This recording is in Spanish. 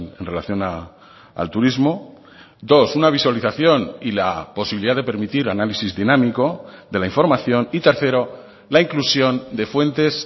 en relación al turismo dos una visualización y la posibilidad de permitir análisis dinámico de la información y tercero la inclusión de fuentes